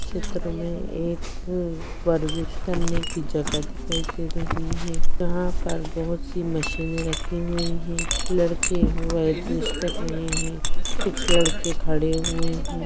इस चित्र में एक करने की जगह दिखाई दे रही है यहाँ पर बहुत सी मशीने रखे हुए है लड़के प्रैक्टिस कर रहे है कुछ लड़के खड़े हुए है।